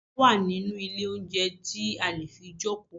Àga wà nínú ilé oúnjẹ tí a lè fi jókòó.